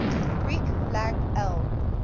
greek lang el